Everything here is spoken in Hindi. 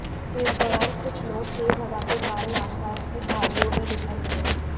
इस दौरान कुछ नोट तेज हवा के कारण आसपास की झाड़ियों में बिखर गए